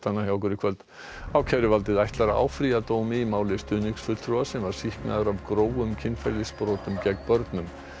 ákæruvaldið ætlar að áfrýja dómi í máli stuðningsfulltrúa sem var sýknaður af grófum kynferðisbrotum gegn börnum settur lögreglustjóri